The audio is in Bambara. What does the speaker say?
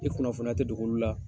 I kunnafoniya tɛ dogo olu la.